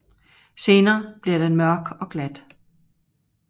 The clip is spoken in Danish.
Senere bliver den mørk og glat